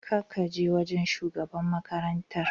Ka kaje wajan shugaban makarantar?